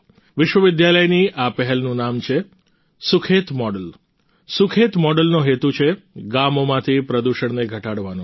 વિશ્વવિદ્યાલયની આ પહેલનું નામ છે સુખેત મોડલ સુખેત મોડલનો હેતુ છે ગામોમાંથી પ્રદૂષણને ઘટાડવાનો છે